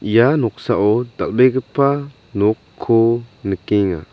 ia noksao dal·begipa nokko nikenga.